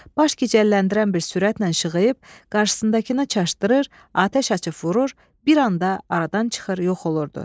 Baş gicəlləndirən bir sürətlə işığıyıb, qarşısındakını çaşdırır, atəş açıb vurur, bir anda aradan çıxır, yox olurdu.